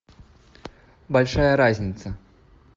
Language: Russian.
большая разница